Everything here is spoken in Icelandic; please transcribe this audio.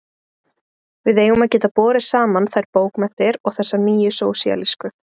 Við eigum að geta borið saman þær bókmenntir og þessar nýju og sósíalísku.